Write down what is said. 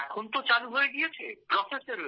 হ্যাঁ এখন তো চালু হয়ে গিয়েছে